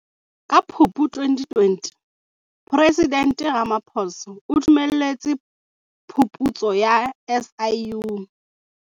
Ka Phupu 2020, Presidente Ramaphosa o dumelletse phuputso ya SIU.